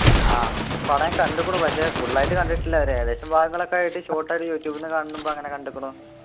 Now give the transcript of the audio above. ആഹ് പടഞാൻ കണ്ടുക്കുണു പക്ഷെ full ആയിട്ട് കണ്ടിട്ടില്ല ഒരു ഏകദേശം ഭാഗങ്ങളൊക്കെ ആയിട്ട് short ആയിട്ട് യൂട്യൂബ്ന്ന് കാണുമ്പോ അങ്ങനെ കണ്ടുക്കുണു